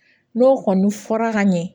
N'o kɔni fɔra ka ɲɛ